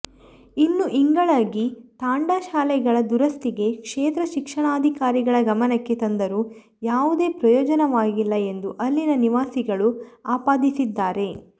ಇನ್ನು ಇಂಗಳಗಿ ತಾಂಡಾ ಶಾಲೆಗಳ ದುರಸ್ತಿಗೆ ಕ್ಷೇತ್ರ ಶಿಕ್ಷಣಾಧಿಕಾರಿಗಳ ಗಮನಕ್ಕೆ ತಂದರೂ ಯಾವುದೇ ಪ್ರಯೋಜನವಾಗಿಲ್ಲ ಎಂದು ಅಲ್ಲಿನ ನಿವಾಸಿಗಳು ಆಪಾದಿಸಿದ್ದಾರೆ